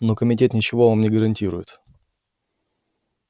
но комитет ничего вам не гарантирует